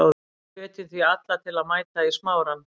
Við hvetjum því alla til að mæta í Smárann.